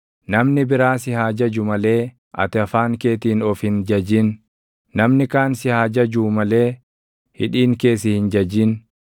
Namni biraa si haa jaju malee ati afaan keetiin of hin jajin; namni kaan si haa jajuu malee hidhiin kee si hin jajin.